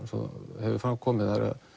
og hefur fram komið